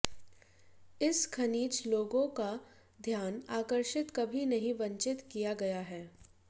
इस खनिज लोगों का ध्यान आकर्षित कभी नहीं वंचित किया गया है